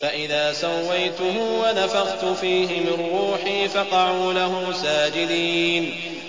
فَإِذَا سَوَّيْتُهُ وَنَفَخْتُ فِيهِ مِن رُّوحِي فَقَعُوا لَهُ سَاجِدِينَ